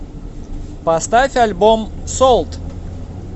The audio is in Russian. поставь альбом солт